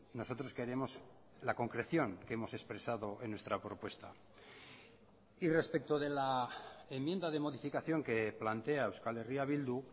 nosotros queremos la concreción que hemos expresado en nuestra propuesta y respecto de la enmienda de modificación que plantea euskal herria bildu